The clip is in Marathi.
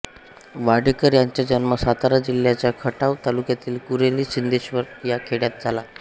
वाडेकर यांचा जन्म सातारा जिल्ह्याच्या खटाव तालुक्यातील कुरोली सिद्धेश्वर या खेड्यात झाला